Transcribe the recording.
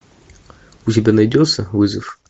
у тебя найдется вызов